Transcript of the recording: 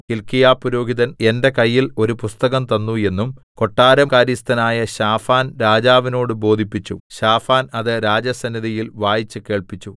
ഹില്ക്കീയാപുരോഹിതൻ എന്റെ കയ്യിൽ ഒരു പുസ്തകം തന്നു എന്നും കൊട്ടാരം കാര്യസ്ഥനായ ശാഫാൻ രാജാവിനോട് ബോധിപ്പിച്ചു ശാഫാൻ അത് രാജസന്നിധിയിൽ വായിച്ചു കേൾപ്പിച്ചു